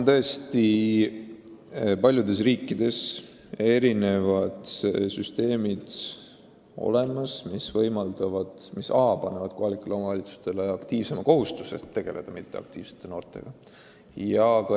Paljudes riikides on tõesti olemas süsteem, mis paneb kohalikule omavalitsusele kohustuse tegeleda mitteaktiivsete noortega.